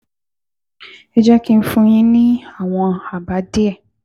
Ẹ jẹ́ kí n fún yín ní àwọn àbá díẹ̀